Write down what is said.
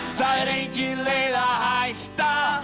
það er engin leið að hætta